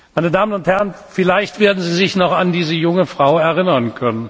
wird. Meine Damen und Herren, vielleicht werden Sie sich noch an diese junge Frau erinnern.